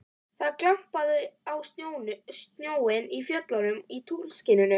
Það glampaði á snjóinn í fjöllunum í tunglskininu.